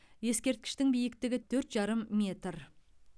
ескерткіштің биіктігі төрт жарым метр